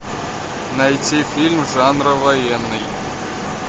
найти фильм жанра военный